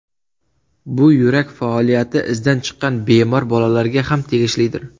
Bu yurak faoliyati izdan chiqqan bemor bolalarga ham tegishlidir.